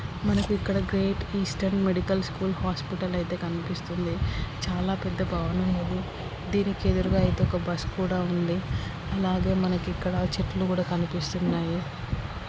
మనకి ఇక్కడ great eastern medical school hospital ఐతే కనిపిస్తుంది. చాలా పెద్ద భవనం ఉంది. దీనికి ఎదురుగా ఐతే ఒక బస్సు కూడా ఉంది. అలాగే మనకి ఇక్కడ చెట్లు కూడా కనిపిస్తున్నాయి.